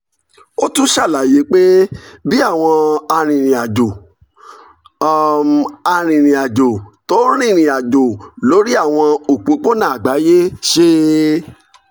ó tún ṣàlàyé pé bí àwọn um arìnrìn-àjò àwọn um arìnrìn-àjò tó ń rìnrìn àjò lórí àwọn òpópónà àgbáyé ṣe